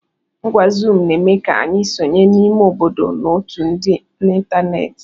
Ngwá zuum na-eme ka anyị sonye n'ime obodo na otù dị n'ịntanetị.